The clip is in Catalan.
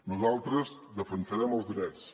nosaltres defensarem els drets